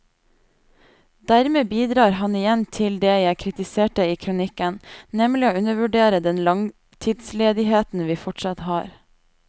Dermed bidrar han igjen til det jeg kritiserte i kronikken, nemlig å undervurdere den langtidsledigheten vi fortsatt har.